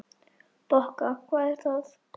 Bokka, hvað er það?